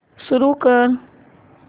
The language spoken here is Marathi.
सुरू कर